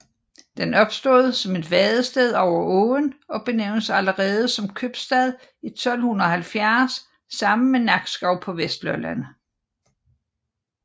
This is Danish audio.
Den opstod som vadested over åen og benævnes allerede som købstad i 1270 sammen med Nakskov på Vestlolland